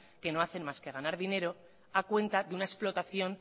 que no hacen más que ganar dinero a cuenta de una explotación